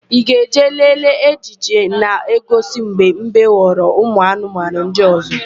Ị ga-eje lelee ejije na-egosi mgbe mbe ghọrịrị ụmụanụmanụ ndị ọ̀zọ́?